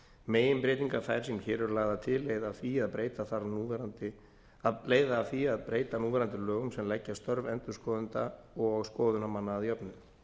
meginbreytingar þær sem hér eru lagðar til leiða af því að breyta núverandi lögum sem leggja störf endurskoðenda og skoðunarmanna að jöfnu